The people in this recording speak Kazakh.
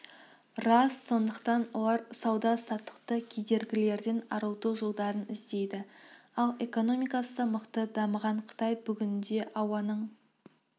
рас сондықтан олар сауда-саттықты кедергілерден арылту жолдарын іздейді ал экономикасы мықты дамыған қытай бүгінде ауаның